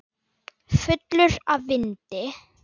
Fullur af vindi.